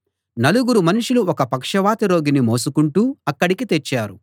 నలుగురు మనుషులు ఒక పక్షవాత రోగిని మోసుకుంటూ అక్కడికి తెచ్చారు